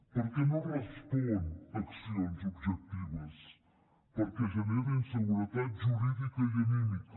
perquè no respon a accions objectives perquè genera inseguretat jurídica i anímica